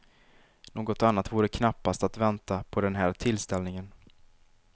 Något annat vore knappast att vänta på den här tillställningen.